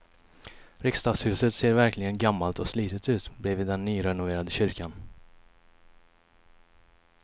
Riksdagshuset ser verkligen gammalt och slitet ut bredvid den nyrenoverade kyrkan.